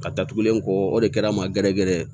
Ka datugulen kɔ o de kɛra n ma gɛrɛ gɛrɛ ye